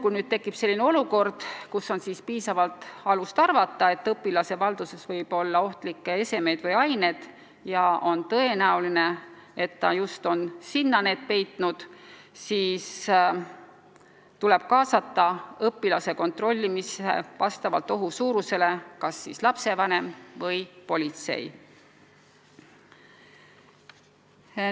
Kui tekib selline olukord, kus on piisavalt alust arvata, et õpilase valduses võib olla ohtlikke esemeid või aineid ja on tõenäoline, et ta just on peitnud need keha ja riiete vahele, siis tuleb õpilase kontrollimisse kaasata vastavalt ohu suurusele kas lapsevanem või politsei.